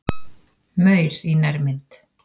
Maur í nærmynd.